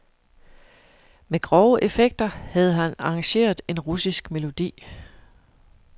Med grove effekter havde han arrangeret en russisk melodi.